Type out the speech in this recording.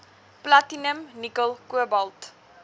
platinum nikkel kobalt